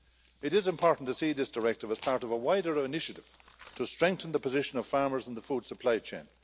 It is important to see this directive as part of a wider initiative to strengthen the position of farmers in the food supply chain.